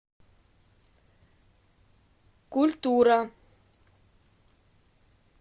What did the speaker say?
культура